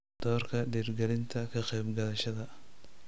Doorka dhiirigelinta ka qaybqaadashada